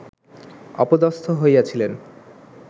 অপদস্থ হইয়াছিলেন